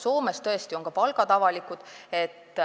Soomes on tõesti ka palgad avalikud.